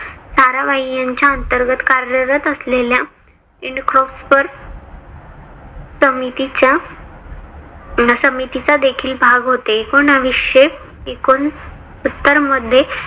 साराभाई यांच्या अंतर्गत कार्यरत असलेल्या समितीच्या समितीचा देखील भाग होते.